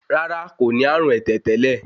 Rárá kò ní àrùn ẹ̀tẹ̀ tẹ́lẹ̀